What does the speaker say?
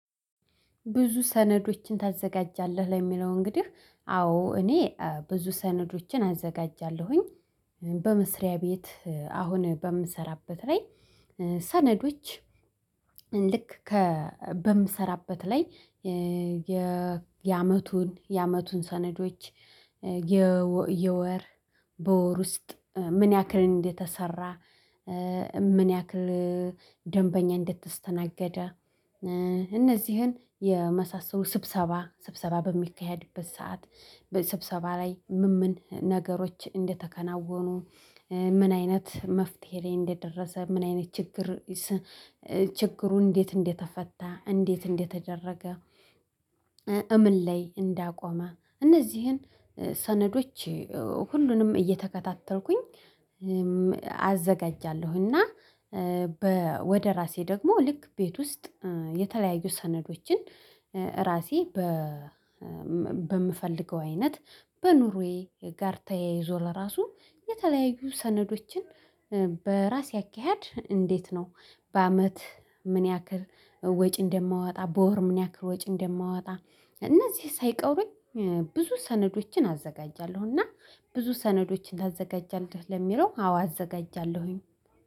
ብዙ ሰነዶችን ታዘጋጃለህ ለሚለው እንግዲህ አዎ እኔ ብዙ ሰነዶችን አዘጋጃለሁኝ በመስሪያ ቤት አሁን በምሰራበት ላይ። ሰነዶች ልክ ከ በምሰራበት ላይ የ የአመቱን የአመቱን ሰነዶች የ የወር በወር ውስጥ ምን ያክል እንደተሰራ? ምን ያክል ደንበኛ እንድተስተናገደ? እነዚህን የመሳሰሉ ስብሰባ ስብሰባ በሚካሄድበት ሰዓት ስብሰባ ላይ ምንምን ነገሮች እንደተከናወኑ። ምን አይነት መፍትሄ ላይ እንደደረሰ ምን አይነት ችግር? ችግሩ እንዴት እንደተፈታ እንዴት እንደተደረገ? እምን ላይ እንዳቆመ እነዚህን ሰነዶች ሁሉንም እየተከታተልኩኝ አዘጋጃለሁኝ። እና በ ወደ ራሴ ደግሞ ልክ ቤት ውስጥ የተለያዩ ሰነዶችን ራሴ በ በምፈልገው አይነት በኑሮዬ ጋር ተያይዞ ለራሱ የተለያዩ ሰነዶችን በራሴ አካሄድ እንዴት ነው? በአመት ምን ያክል ወጪ እንደማወጣ በወር ምን ያክል ወጪ እንደማወጣ? እነዚህ ሳይቀሩኝ ብዙ ሰነዶችን አዘጋጃለሁና ብዙ ሰነዶችን ታዘጋጃለሁ ለሚለው አዎ አዘጋጃለሁኝ።